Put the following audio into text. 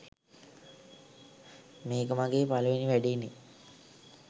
මේක මගේ පළවෙනි වැඩේනේ